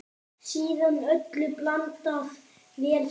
Síðan öllu blandað vel saman.